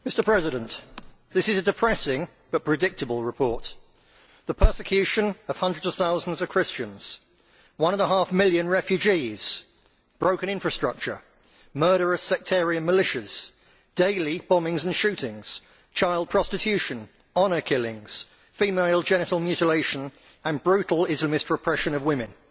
Mr President, this is a depressing but predictable report the persecution of hundreds of thousands of Christians, one and a half million refugees, broken infrastructure, murderous sectarian militias, daily bombings and shootings, child prostitution, honour killings, female genital mutilation and brutal Islamist repression of women.